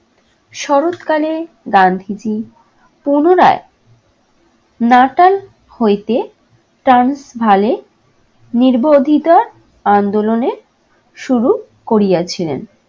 শরৎ কালে গান্ধীজী পুনরায় নাটাল হইতে, নির্বোধিতা আন্দোলনের শুরু করিয়াছিলেন।